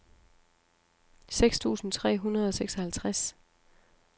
seks tusind tre hundrede og seksoghalvtreds